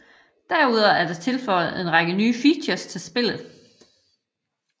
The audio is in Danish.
Derudover er der tilføjet en række nye features til spillet